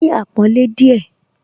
Ní àpọ́nlé díẹ̀